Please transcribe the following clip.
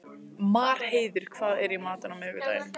Marheiður, hvað er í matinn á miðvikudaginn?